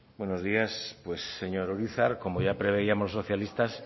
buenos días pues señor urizar como ya preveíamos los socialistas